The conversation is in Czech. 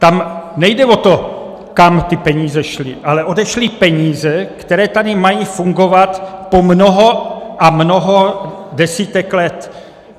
Tam nejde o to, kam ty peníze šly, ale odešly peníze, které tady mají fungovat po mnoho a mnoho desítek let.